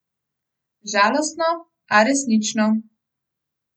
Žalostno, a resnično.